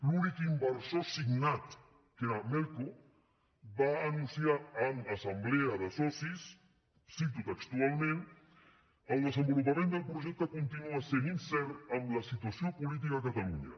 l’únic inversor signat que era melco va anunciar en assemblea de socis ho cito textualment el desenvolupament del projecte continua sent incert amb la situació política a catalunya